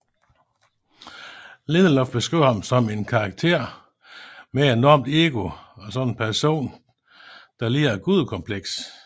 Lindelof beskriver ham som en karakter med et enormt ego og som en person der lider af et gudekompleks